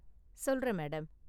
சொல்றேன், மேடம்.